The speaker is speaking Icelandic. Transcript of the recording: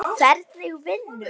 Hvernig vinnu?